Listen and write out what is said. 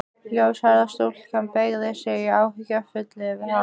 Ljóshærða stúlkan beygði sig áhyggjufull yfir hann.